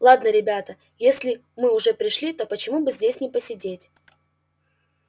ладно ребята если мы уже пришли то почему бы здесь не посидеть